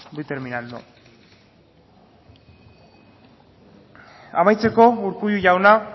voy terminando amaitzeko urkullu jauna